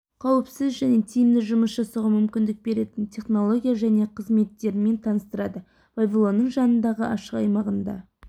қауіпсіз және тиімді жұмыс жасауға мүмкіндік беретін технология және қызметтермен таныстырады павильонның жанындағы ашық аймағында